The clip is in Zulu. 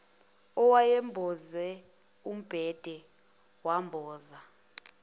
eyayimboze umbhede wamboza